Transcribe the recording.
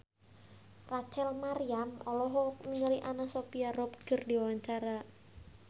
Rachel Maryam olohok ningali Anna Sophia Robb keur diwawancara